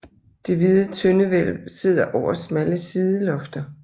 Det hvide tøndehvælv sidder over smalle sidelofter